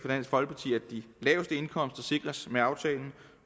dansk folkeparti at de laveste indkomster sikres med aftalen